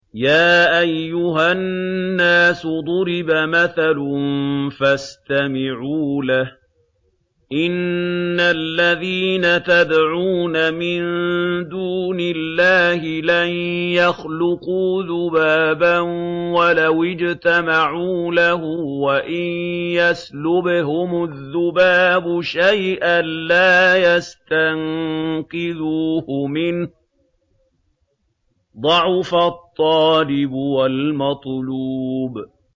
يَا أَيُّهَا النَّاسُ ضُرِبَ مَثَلٌ فَاسْتَمِعُوا لَهُ ۚ إِنَّ الَّذِينَ تَدْعُونَ مِن دُونِ اللَّهِ لَن يَخْلُقُوا ذُبَابًا وَلَوِ اجْتَمَعُوا لَهُ ۖ وَإِن يَسْلُبْهُمُ الذُّبَابُ شَيْئًا لَّا يَسْتَنقِذُوهُ مِنْهُ ۚ ضَعُفَ الطَّالِبُ وَالْمَطْلُوبُ